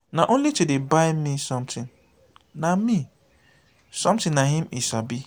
na only to dey buy me something na me something na im he sabi.